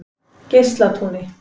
Geislatúni